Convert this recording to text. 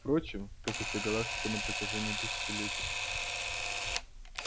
впрочем как и вся галактика на протяжении тысячелетий